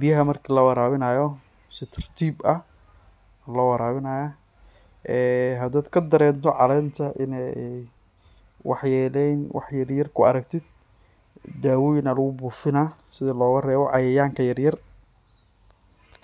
biyaha marki lawarabinayo si tartib ah aa lowarabinaya ee hadad kadarento calenta in ay wax yelen wax yaryar kuaragtid, dawoyin aa lugubufinaah si logarebo cayayanka yaryar.